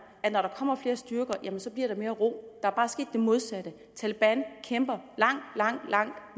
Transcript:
at når der kommer flere styrker bliver der mere ro der er bare sket det modsatte taleban kæmper langt langt langt